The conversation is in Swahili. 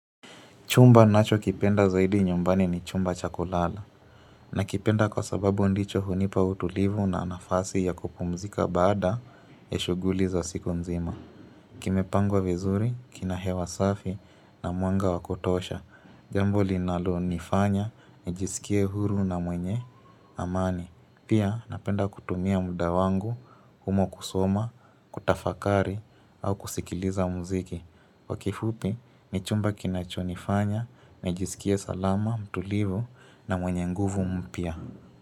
Chumba ninacho kipenda zaidi nyumbani ni chumba cha kulala. Na kipenda kwa sababu ndicho hunipa utulivu na nafasi ya kupumzika baada ya shughuli za siku mzima. Kimepangwa vizuri, kinahewa safi na mwanga wakutosha. Jambo linalo nifanya, nijisikie huru na mwenye amani. Pia napenda kutumia muda wangu, humo kusoma, kutafakari au kusikiliza muziki. Kwa kifupi, ni chumba kinachonifanya, nijiskie salama, mtulivu na mwenye nguvu mpya.